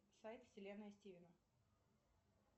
сайт вселенная стивена